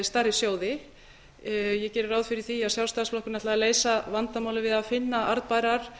stærri sjóði ég geri ráð fyrir því að sjálfstæðisflokkurinn ætli að leysa vandamálið við að finna arðbærar